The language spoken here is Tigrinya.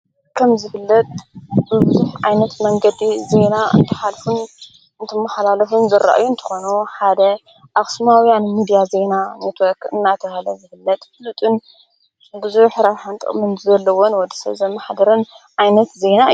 ከም ዝፍለጥ ብቡዝሕ ዓይነት መንገዲ ዘይና እንተኃልፉን ንትመሓላልፉን ዘረአዩ እንተኾኖ ሓደ ኣኽስማውያን ሚድያ ዘይና ነትወርክ እናተሃለ ዝፍለጥ ፍሉጥን ብዙሕ ረብሓን ጥቅምን ዘለዎን ወድሰብ ዘመሓድርን ዓይነት ዘይና እዮ።